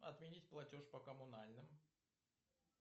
отменить платеж по коммунальным